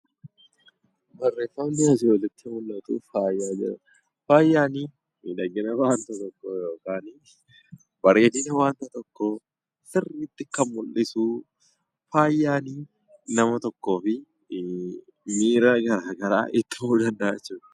Barreeffamni asii olitti mul'atu faaya jedha faayyi miidhagina waan tokkoo bareedina waan tokkoo sirriitti kan mul'isuudha faayyi nama tokkoof miiraa gara garaa itti himuu danda'a jechuudha